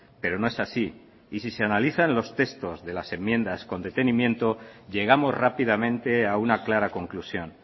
pero no es así y si se analizan los textos de las enmiendas con detenimiento llegamos rápidamente a una clara conclusión